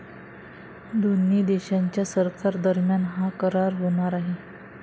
दोन्ही देशांच्या सरकारादरम्यान हा करार होणार आहे.